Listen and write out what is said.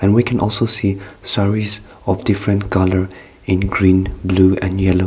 we can also see service of different colour in green blue and yellow.